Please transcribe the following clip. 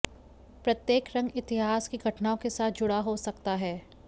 प्रत्येक रंग इतिहास की घटनाओं के साथ जुड़ा हो सकता है